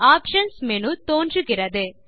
options menu தோன்றுகிறது